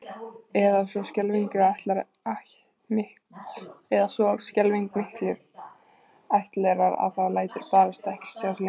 Eða svo skelfing miklir ættlerar að það lætur barasta ekkert sjá sig lengur